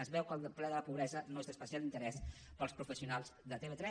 es veu que el ple de la pobresa no és d’especial interès per als professionals de tv3